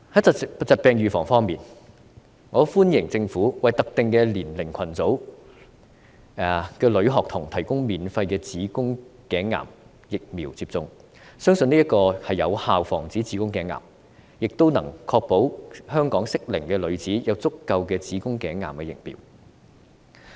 在疾病預防方面，我歡迎政府為特定年齡組群的女學童提供免費子宮頸癌疫苗接種，相信此舉會有效防止子宮頸癌，亦能確保香港的適齡女子有足夠的子宮頸癌疫苗。